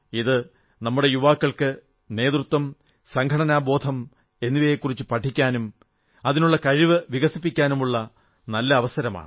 ഇത് നമ്മുടെ യുവാക്കൾക്ക് നേതൃത്വം സംഘടനാബോധം എന്നിവയെക്കുറിച്ചു പഠിക്കാനും അതിനുള്ള കഴിവ് വികസിപ്പിക്കാനുമുള്ള ഒരു നല്ല അവസരമാണ്